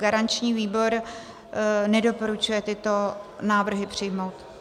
Garanční výbor nedoporučuje tyto návrhy přijmout.